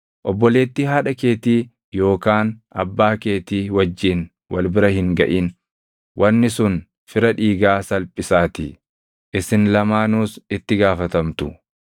“ ‘Obboleettii haadha keetii yookaan abbaa keetii wajjin wal bira hin gaʼin; wanni sun fira dhiigaa salphisaatii; isin lamaanuus itti gaafatamtu.